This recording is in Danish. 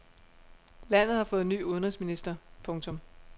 Landet har fået ny udenrigsminister. punktum